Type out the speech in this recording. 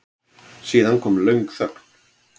Síðan kom löng þögn.